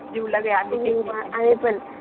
जिवलग आहे आम्ही तिघीपण